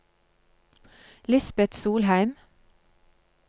Lisbeth Solheim